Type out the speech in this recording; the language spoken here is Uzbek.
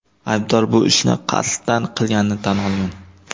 Aybdor bu ishni qasddan qilganini tan olgan.